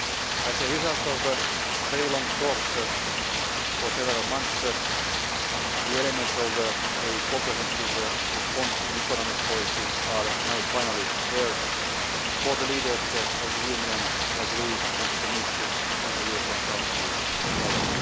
As a result of very long talks for several months, the elements of a comprehensive response in economic policy are now finally there for the leaders of the Union to agree and commit to in the European Council tomorrow.